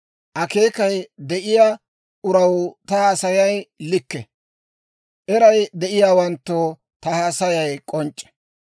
Akeekay de'iyaa uraw ta haasayay likke; eray de'iyaawanttoo ta haasayay k'onc'c'e.